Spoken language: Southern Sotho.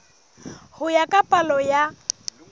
ho ya ka palo ya